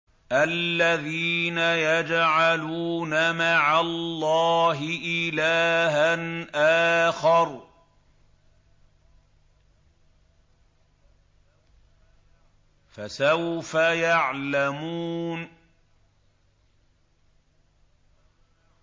الَّذِينَ يَجْعَلُونَ مَعَ اللَّهِ إِلَٰهًا آخَرَ ۚ فَسَوْفَ يَعْلَمُونَ